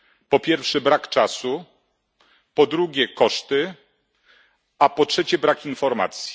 Po pierwsze brak czasu, po drugie koszty, a po trzecie brak informacji.